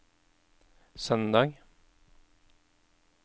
søndag